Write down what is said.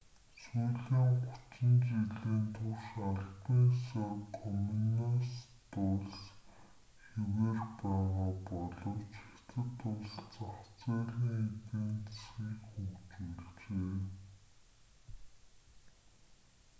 сүүлийн гучин жилийн турш албан ёсоор коммунист улс хэвээр байгаа боловч хятад улс зах зээлийн эдийн засгийг хөгжүүлжээ